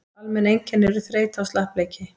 almenn einkenni eru þreyta og slappleiki